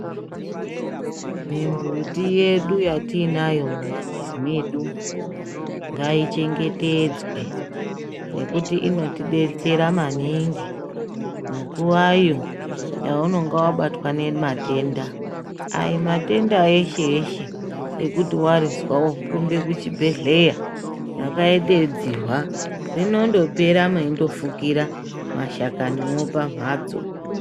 Mimbuti yedu yatinayo mumamizi mwedu ngaichengetedzwe ngekuti inotidetsera maningi munguwayo yaunenge wabata ngematenda aiyi matenda eshe eshe yekuti warizwa worumbe kuchibhedhleya rakaite dzihwa rindopera mweifukira mashakaniwoo pamhatso .